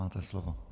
Máte slovo.